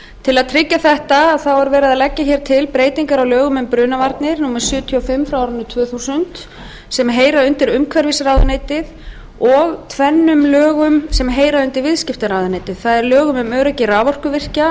til að tryggja þetta er verið að leggja hér til breytingar á lögum um brunavarnir númer sjötíu og fimm tvö þúsund sem heyra undir umhverfisráðuneytið og tvennum lögum sem heyra undir viðskiptaráðuneytið það er lögum um öryggi raforkuvirkja